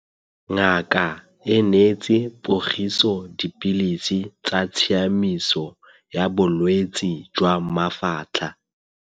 Ngaka e neetse Pogiso dipilisi tsa tshiamiso ya bolwetse jwa mafatlha.